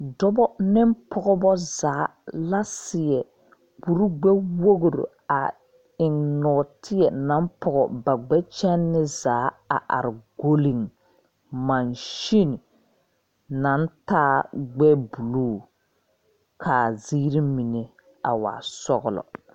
Dɔba ne pɔgba zaa la seɛ kuri gbe wɔgre a eng nɔɔteɛ nan pɔɔ ba gbe kyene zaa a arẽ gɔlle machine nang taa gbe blue kaa ziiri mene a waa sɔglo.